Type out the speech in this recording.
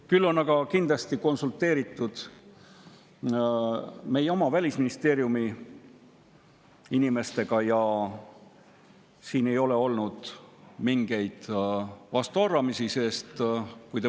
Küll on aga kindlasti konsulteeritud meie oma Välisministeeriumi inimestega ja siin ei ole olnud mingeid vastuarvamusi.